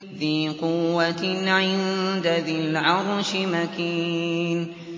ذِي قُوَّةٍ عِندَ ذِي الْعَرْشِ مَكِينٍ